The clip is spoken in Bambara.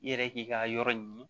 I yɛrɛ k'i ka yɔrɔ ɲini